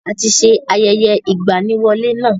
A ti ṣe ayẹyẹ ìgbaniwọlé náà.